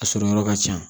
A sɔrɔ yɔrɔ ka ca